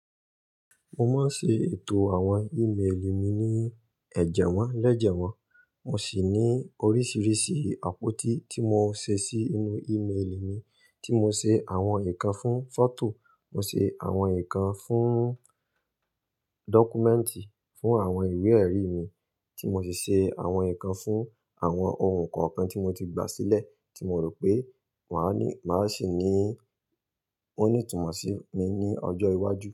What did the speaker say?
Mo máa ń ṣe ètò àwọn email mi ní ẹ̀jẹwọ́ lẹ́jẹwọ́. Mo sì ní oríṣiríṣi àpótí tí mo ṣe sí inú email mi. Tí mo ṣe àwọn nǹkan fún foto, mo ṣe àwọn nǹkan fún dọ́kúmẹ́ǹtì, fún àwọn ìwé-ẹ̀rí mi, tí mo sì ṣe àwọn nǹkan fún àwọn ohun koo kan tí mo ti gbà sílẹ̀ tí mo rò pé màá ní, màá sì ní ó ní ìtumọ̀ sí mi ní ọjọ́ iwájú.